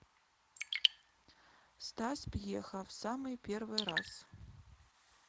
стас пьеха в самый первый раз